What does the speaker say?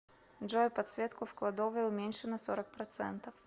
джой подсветку в кладовой уменьши на сорок процентов